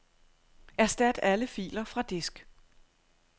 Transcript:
Erstat alle filer fra disk.